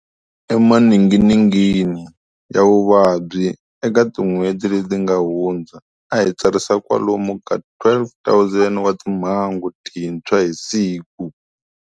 Emaninginingini ya vuvabyi eka tin'hweti leyi nga hundza, a hi tsarisa kwalomu ka 12,000 wa timhangu tintshwa hi siku.